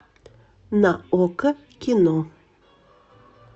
на окко кино